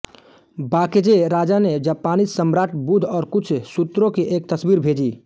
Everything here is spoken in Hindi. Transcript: बाकेजे राजा ने जापानी सम्राट बुद्ध और कुछ सूत्रों की एक तस्वीर भेजी